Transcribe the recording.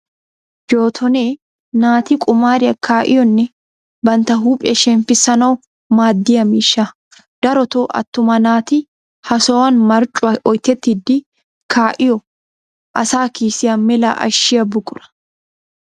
Jootonee naati qumaariya kaa'iyonne bantta huuphiya shemppissanawu maaddiya miishsha. Darotoo attuma naati ha sohuwan marccuwa oyitettidi kaa'iyo asa kiisiya mela ashshiya buqura.